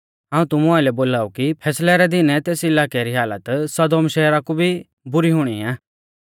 हाऊं तुमु आइलै बोलाऊ कि फैसलै रै दीनै तेस इलाकै री हालत सदोम शहरा कु भी बुरी हुणी आ